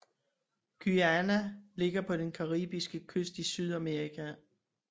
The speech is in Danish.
Guyana ligger på den caribiske kyst i Sydamerika